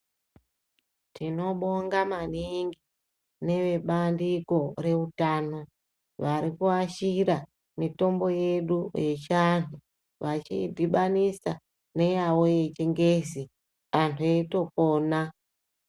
Tinobonga maningi nevebandiko reutano varikuashira mitombo yedu yechiantu vachiidhibanisa neyavo yechingezi antu eitopona.